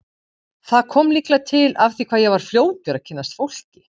Það kom líklega til af því hvað ég var fljótur að kynnast fólki.